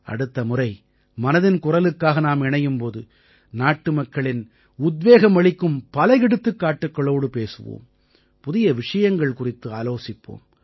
அடுத்த முறை மனதின் குரலுக்காக நாம் இணையும் போது நாட்டுமக்களின் உத்வேகம் அளிக்கும் பல எடுத்துக்காட்டுக்களோடு பேசுவோம் புதிய விஷயங்கள் குறித்து ஆலோசிப்போம்